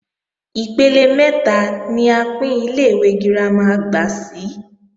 Ipele mẹ́ta ni a pín Ilé-ìwé girama àgbà sí